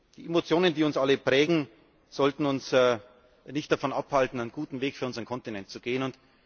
Die Emotionen, die uns alle prägen, sollten uns nicht davon abhalten, einen guten Weg für unseren Kontinent zu gehen.